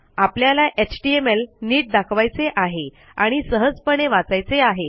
आपल्याला एचटीएमएल नीट दाखवायचे आहे आणि सहजपणे वाचायचे आहे